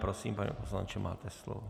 Prosím, pane poslanče, máte slovo.